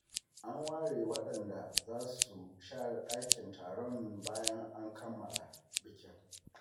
An ware waɗanda za su share ɗakin taron bayan kammala bikin.